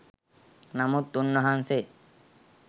නමුත් උන්වහන්සේ